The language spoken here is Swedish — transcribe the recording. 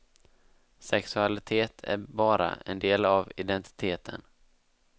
Sexualitet är bara en del av identiteten.